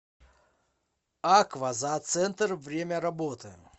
аква зооцентр время работы